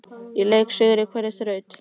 Í leik og sigri og hverri þraut!